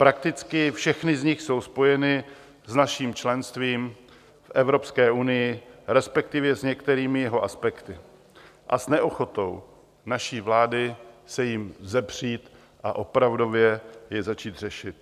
Prakticky všechny z nich jsou spojeny s naším členstvím v Evropské unii, respektive s některými jeho aspekty, a s neochotou naší vlády se jim vzepřít a opravdově je začít řešit.